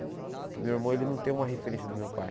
Porque o meu irmão ele não tem uma referência do meu pai.